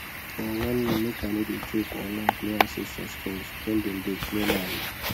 them warn me make i no dey joke or laugh near ancestor stones when them dey clear land